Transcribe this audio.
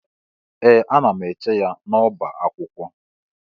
Ee! Ana m eche ya n'ọbá akwụkwọ.